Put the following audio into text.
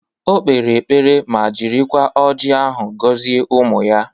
O kpere ekpere ma jirikwa ọji ahụ gọzie ụmụ ya